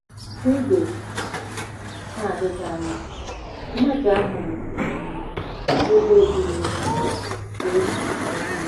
N'oge na-adịghị anya, mmaja ahụ ruru um ebe dị um egwu.